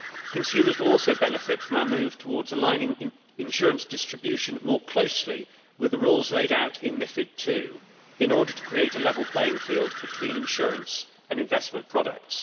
Consumers will also benefit from a move towards aligning insurance distribution more closely with the rules laid out in MiFID II in order to create a level playing field between insurance and investment products.